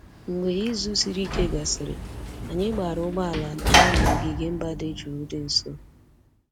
Mgbe izu siri ike gasịrị, anyị gbaara ụgbọ ala gaa n'ogige mba dị jụụ dị nso